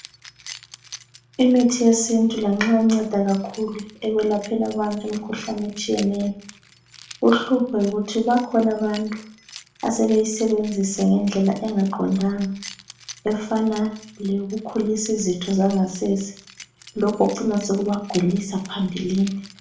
Imithi yesintu lanxa inceda kakhulu ekwelapheni abantu imikhuhlane etshiyeneyo, uhlupho yikuthi bakhona abantu asebeyisebenzisa ngendlela engaqondanga efana leyokukhulisa izitho zangasese, lokhu kucina sokubagulisa phambilini